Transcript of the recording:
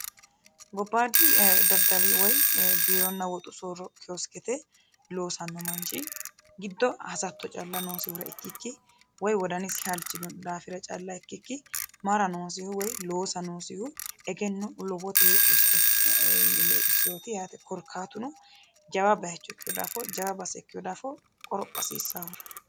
gobbayiidi daddal woy biironna wodhu soorro riskete loosanno manch giddo hasatto calla noosiha ikkiki woy wodanisi halchino daafira calla ikkiki mara noosihu woy loosa noosihu egenno lowoti heedhusirooti yaate korkaatuno jawa bayiicho ikkiyoo daafo jawa base ikkiyoo daafo qoropho hasiissahura